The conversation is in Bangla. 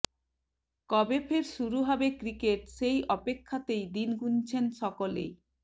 কবে ফের শুরু হবে ক্রিকেট সেই অপেক্ষাতেই দিন গুনছেন সকলে